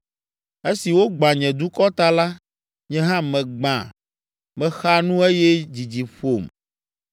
Esi wogbã nye dukɔ ta la, nye hã megbã, mexa nu eye dzidzi ƒom.